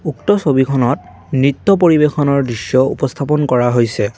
উক্ত ছবিখনত নৃত্য পৰিবেশনৰ দৃশ্য উপস্থাপন কৰা হৈছে।